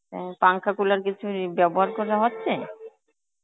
অ্যাঁ পাংখা cooler কিছুর ই ব্যবহার করা হচ্ছে?